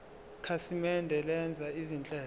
ikhasimende lenza izinhlelo